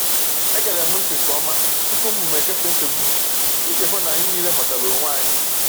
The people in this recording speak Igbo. Egere m ntị nke ọma tupu m kesaa nchegbu m, iji hụ na anyị niile ghọtara onwe anyị.